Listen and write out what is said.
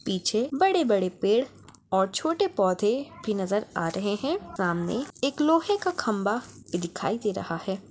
पीछे बड़े-बड़े पेड़ और छोटे पौधे भी नज़र आ रहे हैं सामने एक लोहे का खम्भा भी दिखाई दे रहा हैं।